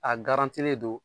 A garantilen don